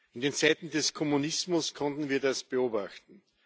In den Zeiten des Kommunismus konnten wir das beobachten.